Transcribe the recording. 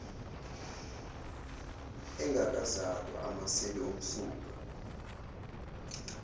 engakazalwa amaseli omsuka